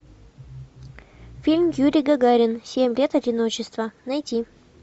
фильм юрий гагарин семь лет одиночества найти